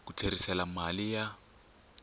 ku ku tlherisela mali ya